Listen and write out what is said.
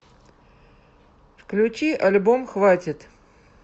включи альбом хватит